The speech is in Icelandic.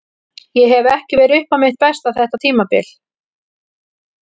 Ég hef ekki verið upp á mitt besta þetta tímabil.